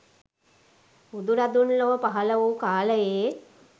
බුදුරදුන් ලොව පහළ වූ කාලයේ